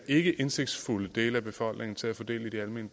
ikkeindsigtsfulde del af befolkningen til at få del i de almene